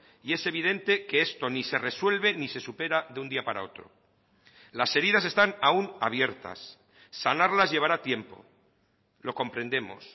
y es evidente que esto ni se resuelve ni se supera de un día para otro las heridas están aún abiertas sanarlas llevará tiempo lo comprendemos